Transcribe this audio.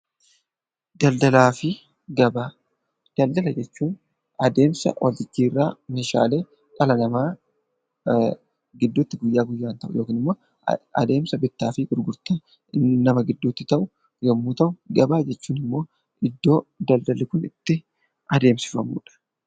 Daldala jechuun adeemsa wal jijjiirraa meeshaalee dhala namaa gidduutti guyyaa guyyaadhaan adeemsa bittaa fi gurgurtaa kan ibsu yommuu ta'u, gabaanjechuun immoo daldalli kun itti adeemsifamudha.